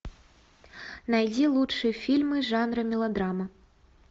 найди лучшие фильмы жанра мелодрама